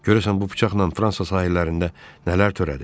Görəsən bu bıçaqla Fransa sahillərində nələr törədib?